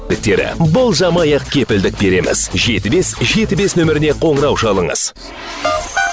болжамай ақ кепілдік береміз жеті бес жеті бес нөміріне қоңырау шалыңыз